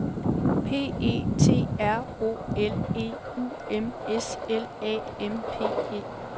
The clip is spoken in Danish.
P E T R O L E U M S L A M P E